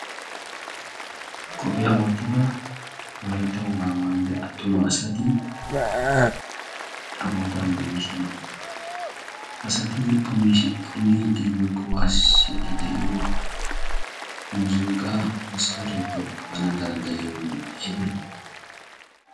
Qopiyaa wottida wolaytta wogaa maayida attuma asati tagootan de'oosona. ha asati punnidi woykko waassiddi de'iyo muzinqqa maskkareeppe qana danddayiyooge aybee?